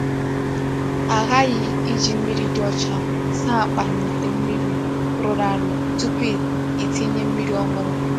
A ghaghị iji mmiri dị ọcha saa akpa na ite mmiri rụrụ arụ tupu itinye mmiri ọhụrụ.